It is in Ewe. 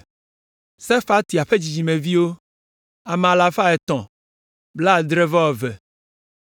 Sefatia ƒe dzidzimeviwo, ame alafa etɔ̃ blaadre-vɔ-eve (372).